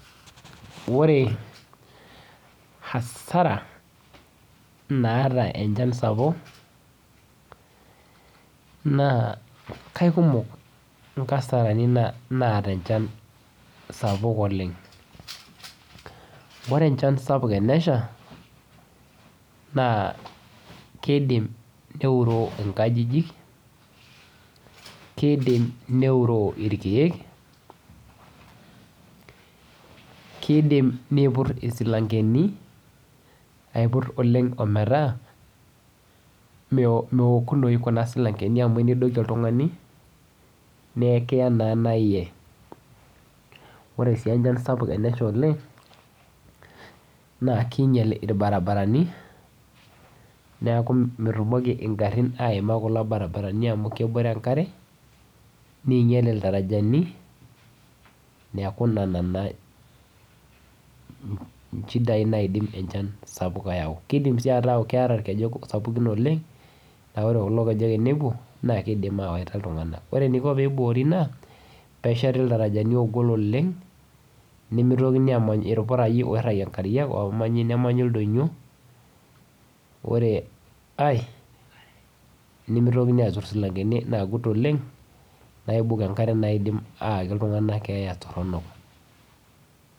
Ore hasara naata enchaan sapuk naa kaikumook nkasarani naata enchaan sapuk oleng. Ore nchaan sapuk eneshaa naa keidiim neuroo nkajijik, keidiim neuroo elkiek, keidiim neipuur esilang'eni, aipuur oleng ometaa meookunoi kuna silang'eni amu niidokie ltung'ani nee kiyaa naa eiyee. Ore sii enchaan sapuk eneshaa oleng naa kinyeel lbarabarani neeku meitumokii nkaarin aimaaa kuloo lbarabarani amu keboore enkaare, neinyeel ldaarajani neeku nena naa nchiidai naidiim enchaan sapuk eyaau. Keidiim sii etaa kearaa olkejeek sapukni oleng naa ore kuloo lkejeek tinibung'uu naa kidiim awetaa ltung'ana. Ore niikoo pee iboori naa pee eshatii ldaarajani loigol oleng, nemee ntokii amaany elmpuraiyo oiragie nkaare oleng, omanyii nemanyii ldonyoo, ore ai nemeitokii atuur silang'eni laajuut oleng naibook enkaare naidiim eyaaki ltung'ana ng'eaa toorno.